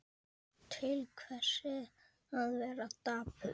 Til hvers að vera dapur?